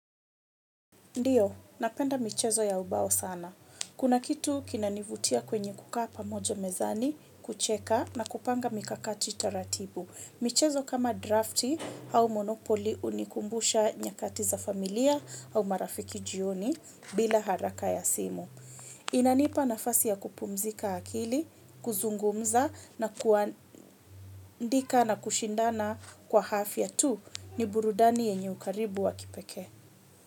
Ndio, napenda michezo ya ubao sana. Kuna kitu kinanivutia kwenye kukaa pamoja mezani, kucheka na kupanga mikakati taratibu. Michezo kama drafti au monopoli hunikumbusha nyakati za familia au marafiki jioni bila haraka ya simu. Inanipa nafasi ya kupumzika akili, kuzungumza na kuandika na kushindana kwa afya tu. Ni burudani yenye ukaribu wa kipekee.